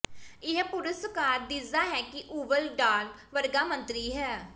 ਇਹ ਪੁਰਸਕਾਰ ਦਿਸਦਾ ਹੈ ਇੱਕ ਓਵਲ ਢਾਲ ਵਰਗਾ ਸੰਤਰੀ ਹੈ